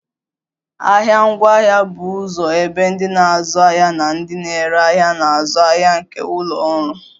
Ahịa ngwaahịa bụ ụzọ ebe ndị na-azụ ahịa na ndị na-ere ahịa na-azụ ahịa nke ụlọ ọrụ